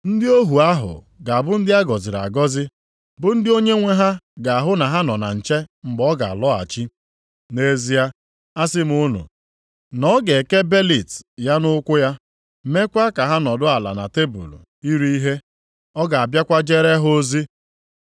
Ndị ohu ahụ ga-abụ ndị a gọziri agọzi, bụ ndị onyenwe ha ga-ahụ na ha nọ na nche mgbe ọ ga-alọghachi. Nʼezie asị m unu na ọ ga-eke belịt ya nʼukwu ya, mekwa ka ha nọdụ ala na tebul iri ihe, ọ ga-abịakwa jere ha ozi.